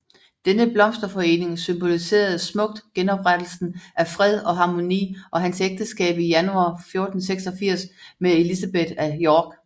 Denne blomsterforening symboliserede smukt genoprettelsen af fred og harmoni og hans ægteskab i januar 1486 med Elizabeth af York